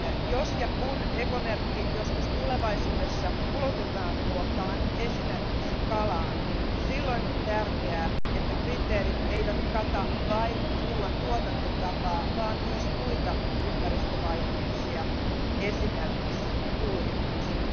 Jos ja kun ekomerkki joskus tulevaisuudessa ulotetaan ruokaan, esimerkiksi kalaan, silloin on tärkeää, että kriteerit eivät kata vain ruoan tuotantotapaa, vaan myös muita ympäristövaikutuksia, esimerkiksi kuljetukset.